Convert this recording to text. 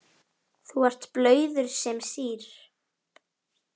Þú ert blauður sem sýr.